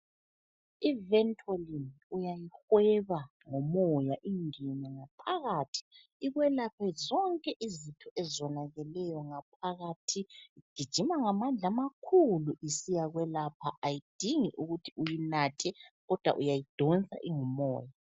I Ventoline uyayihweba ngomoya ingene ngaphakathi ikwelaphe zonke izitho ezonakeleyo ngaphakathi. Gijima ngamandla amakhulu isiyakwelapha. Ayidingi ukuthi uyinathe kodwa uyayidonsa ingu moya.